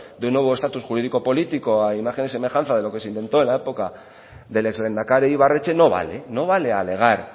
de un nuevo estatus jurídico político a imagen y semejanza de lo que se intentó en la época del ex lehendakari ibarretxe no vale no vale alegar